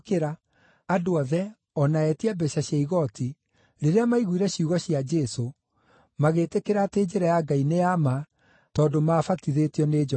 (Andũ othe, o na etia mbeeca cia igooti, rĩrĩa maiguire ciugo cia Jesũ, magĩtĩkĩra atĩ njĩra ya Ngai nĩ ya ma, tondũ maabatithĩtio nĩ Johana.